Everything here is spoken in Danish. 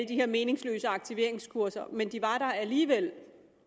de her meningsløse aktiveringskurser men de var der alligevel